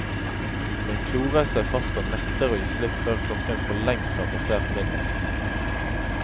Den klorer seg fast og nekter å gi slipp før klokken forlengst har passert midnatt.